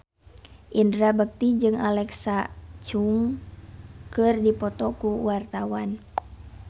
Indra Bekti jeung Alexa Chung keur dipoto ku wartawan